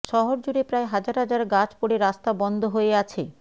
শহর জুড়ে প্রায় হাজার হাজার গাছ পড়ে রাস্তা বন্ধ হয়ে আছে